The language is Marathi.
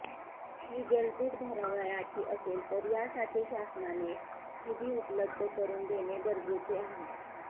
ही जलतूट भरावयाची असेल तर यासाठी शासनाने निधी उपलब्ध करून देणे गरजेचे आहे